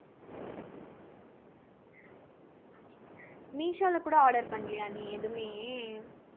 மீஷோல கூட order பண்லையா நீ எதுவுமே